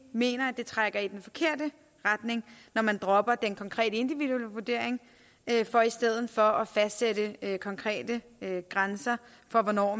mener at det trækker i den forkerte retning når man dropper den konkrete individuelle vurdering for i stedet for at fastsætte konkrete grænser for hvornår